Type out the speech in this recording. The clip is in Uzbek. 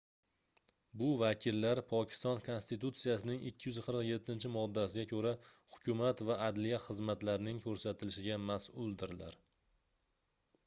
bu vakillar pokiston konstitutsiyasining 247-moddasiga koʻra hukumat va adliya xizmatlarning koʻrsatilishiga masʼuldirlar